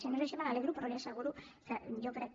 si no és així me n’alegro però li asseguro que jo crec